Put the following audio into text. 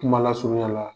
Kuma lasurunya la